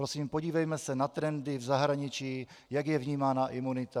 Prosím podívejme se na trendy v zahraničí, jak je vnímána imunita.